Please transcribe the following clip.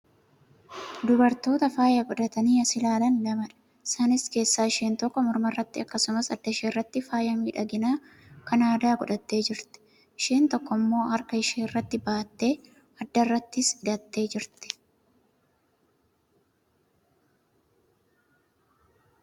Dubartoota faaya godhatanii as ilaalan lamaadha. isaan keessaa isheen tokko morma irratti akkasumas adda ishee irratti faaya miidhaginaa Kan aadaa godhattee jirti. isheen tokkoon immoo harka ishee irratti baattee, adda irrattis hidhattee jirti.